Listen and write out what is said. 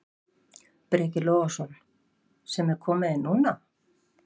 Breki Logason: Sem er komið inn núna?